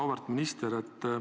Auväärt minister!